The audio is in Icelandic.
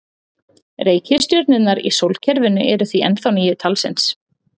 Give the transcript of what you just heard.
Reikistjörnurnar í sólkerfinu eru því ennþá níu talsins.